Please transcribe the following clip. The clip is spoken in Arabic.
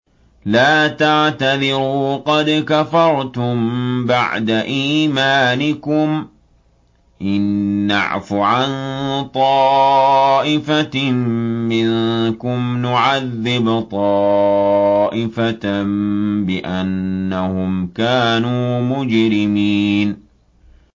لَا تَعْتَذِرُوا قَدْ كَفَرْتُم بَعْدَ إِيمَانِكُمْ ۚ إِن نَّعْفُ عَن طَائِفَةٍ مِّنكُمْ نُعَذِّبْ طَائِفَةً بِأَنَّهُمْ كَانُوا مُجْرِمِينَ